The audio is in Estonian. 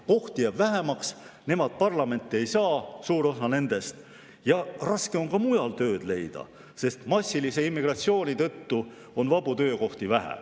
Kohti jääb neil vähemaks, suur osa nendest parlamenti ei saa ja raske on ka mujal tööd leida, sest massilise immigratsiooni tõttu on vabu töökohti vähe.